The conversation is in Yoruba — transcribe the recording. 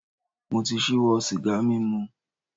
Mo ti ṣíwọ́ sìgá mímu.